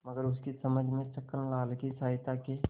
मगर उनकी समझ में छक्कनलाल की सहायता के